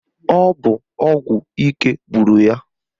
Ọ bụ ọgwụ ike gburu ya.